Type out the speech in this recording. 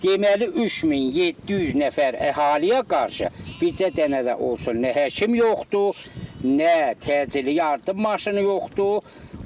Deməli 3700 nəfər əhaliyə qarşı bircə dənə də olsun nə həkim yoxdur, nə təcili yardım maşını yoxdur.